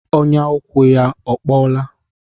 Ọnyà ụkwụ ya ọ kpọọla?